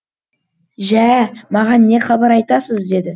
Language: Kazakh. жә маған не хабар айтасыз деді